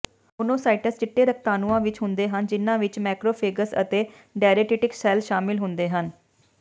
monocytes ਚਿੱਟੇ ਰਕਤਾਣੂਆਂ ਵਿਚ ਹੁੰਦੇ ਹਨ ਜਿਨ੍ਹਾਂ ਵਿਚ ਮੈਕਰੋਫੈਗੇਜ ਅਤੇ ਡੈਰੇਡਿਟਿਕ ਸੈੱਲ ਸ਼ਾਮਲ ਹੁੰਦੇ ਹਨ